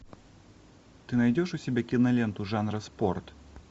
ты найдешь у себя киноленту жанра спорт